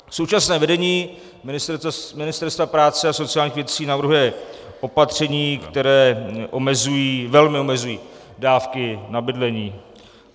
Současné vedení Ministerstva práce a sociálních věcí navrhuje opatření, která velmi omezují dávky na bydlení.